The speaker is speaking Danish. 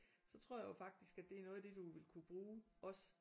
Så tror jeg jo faktisk at det er noget af det du ville kunne bruge også